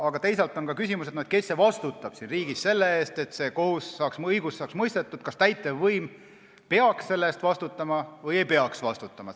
Aga teisalt on ka küsimus, kes vastutab siin riigis selle eest, et õigus saaks mõistetud, kas täitevvõim peaks selle eest vastutama või ei peaks vastutama.